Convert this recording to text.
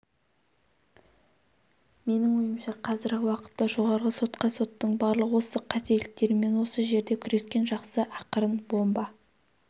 менің ойымша қазіргі уақытта жоғарғы сотқа соттың барлық осы қателіктерімен осы жерде күрескен жақсы ақырын бомба